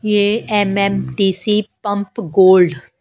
ये MMTC pump gold --